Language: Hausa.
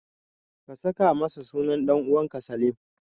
Ka saka masa sunan ɗan'uwanka Salim.